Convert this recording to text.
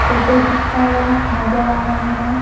Photo खींचता हुआ नजर आ रहा है।